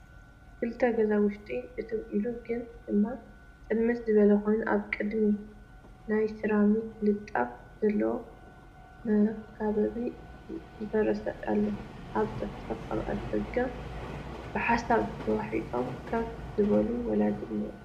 ክልተ ገዛ ውሽጢ እትው ኢሉ ግን ድማ ፅልምት ዝበለ ኾይኑ አብ ቕድሚቱ ናይ ሰራሚክ ልጣፍ ዘለዎ መኻበቢ ዝፈረሰ ኣሎ ፡ ኣብ ፀፍፀፍ ኣፍ ደገ ብሓሳብ ተዋሒጦም ከፍ ዝበሉ ወላዲ እንሄዉ ።